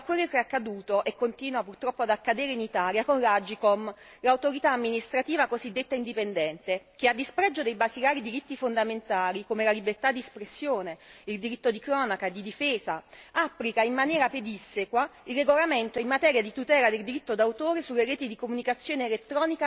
Dico ciò pensando a quello che è accaduto, e continua purtroppo ad accadere, in Italia con l'AGCOM, l'autorità amministrativa cosiddetta indipendente, che a dispregio di basilari diritti fondamentali, come la libertà di espressione e il diritto di cronaca e di difesa, applica in maniera pedissequa il regolamento in materia di tutela del diritto d'autore sulle reti di comunicazione elettronica da essa stessa emanato.